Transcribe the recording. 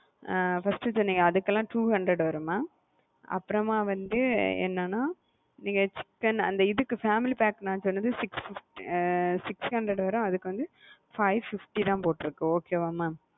அ first சொனேன்ல அதுக்கெல்லாம் two hundred வரும் மா அப்புறமா வந்து என்னென்னா நீங்க chicken அந்த இதுக்கு family pack நான் சொன்னது six fif six hundred வரும் அதுக்கு வந்து five fifty தான் போட்டுருக்கு okay வ mam?